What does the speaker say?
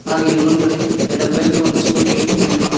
ಹಾಗೂ ಇಲ್ಲಿ ಮುಂದುಗಡೇ ಎರಡು ಬೈಕ್ ಒಂದು ಸ್ಕೂಟಿ ನಿಂತು ಕೊಂಡಿದೆ.